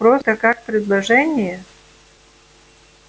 просто как предложение